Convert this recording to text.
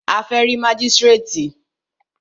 A fẹ́ rí mágístrètì.